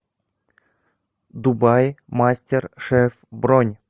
дубаи мастер шеф бронь